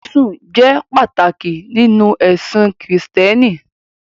Jésù jẹ́ pàtàkì nínú ẹ̀sìn Kristẹni.